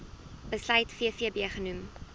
besluit vvb genoem